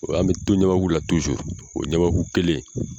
An bɛ to ɲaaku la o ɲamaku kelen